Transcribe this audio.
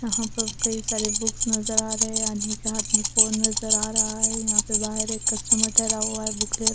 यहां पर कई सारे बुक्स नजर आ रहे हैं आदमी के हाथ में फोन नजर आ रहा है यहां पे बाहर एक कस्टमर ठहरा हुआ बुक ले--